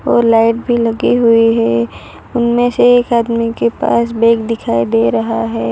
और लाइट भी लगे हुए है उनमें से एक आदमी के पास बैग दिखाई दे रहा है।